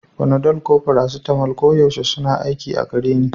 Panadol ko paracetamol koyaushe suna aiki a gare ni